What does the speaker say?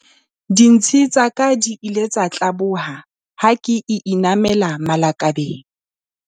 Dintshi tsa ka di ile tsa tlaboha ha ke inamela malakabeng.